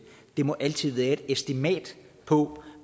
det må altid være et estimat på